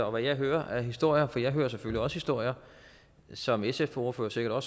og hvad jeg hører af historier for jeg hører selvfølgelig også historier som sfs ordfører sikkert har